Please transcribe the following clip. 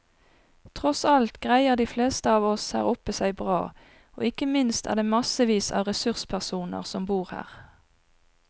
Tross alt greier de fleste av oss her oppe seg bra, og ikke minst er det massevis av ressurspersoner som bor her.